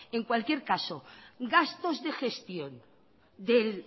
en cualquier caso gastos de gestión